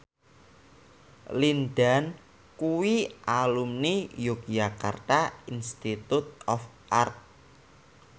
Lin Dan kuwi alumni Yogyakarta Institute of Art